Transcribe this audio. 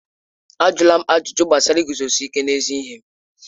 Ajụla m ajụjụ gbasara iguzosi ike n'ezi ihe m!